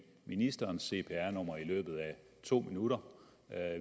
ministerens cpr nummer i løbet af to minutter